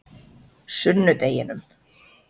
sunnudeginum